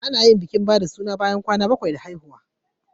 Ana yin bikin ba da suna bayan kwana bakwai da haihuwa.